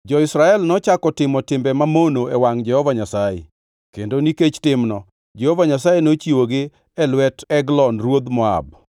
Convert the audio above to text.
Jo-Israel nochako timo timbe mamono e wangʼ Jehova Nyasaye, kendo nikech timno, Jehova Nyasaye nochiwogi e lwet Eglon ruodh Moab.